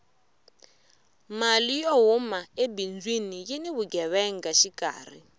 mali yo huma ebindzwini yini vugevenga xikarhi